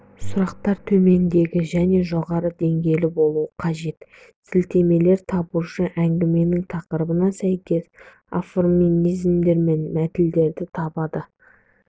сұрақтар төменгі және жоғары деңгейлі болуы қажет сілтемелер табушы әңгіменің тақырыбына сәйкес афоризмдер мен мәтелдерді табады